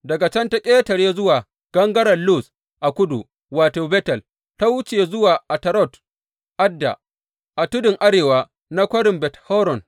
Daga can ta ƙetare zuwa gangaren Luz a kudu wato, Betel, ta wuce zuwa Atarot Adda a tudun arewa na kwarin Bet Horon.